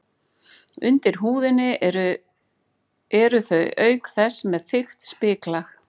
Undir húðinni eru þau auk þess með þykkt spiklag.